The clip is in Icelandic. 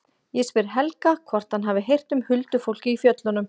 Ég spyr Helga hvort hann hafi heyrt um huldufólk í fjöllunum.